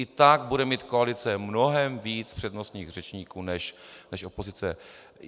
I tak bude mít koalice mnohem víc přednostních řečníků než opozice.